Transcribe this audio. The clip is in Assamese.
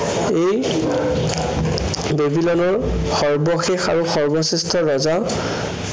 এই বেবিলনৰ সৰ্বশেষ আৰু সৰ্বশ্ৰেষ্ঠ ৰজা